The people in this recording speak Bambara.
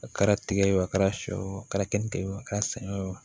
A kɛra tigɛ ye o a kɛra sɔ ye o a kɛra kenike ye o kɛra sɛgɛn wo